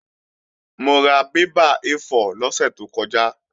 Mo ra bébà A4 lọ́sẹ̀ tó kọjá